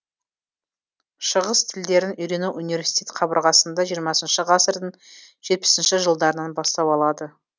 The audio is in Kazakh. шығыс тілдерін үйрену университет қабырғасында жиырмасыншы ғасырдың жетпісінші жылдарынан бастау алады